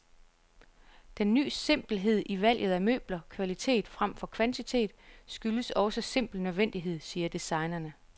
Den ny simpelhed i valget af møbler, kvalitet fremfor kvantitet, skyldes også simpel nødvendighed, siger designerne.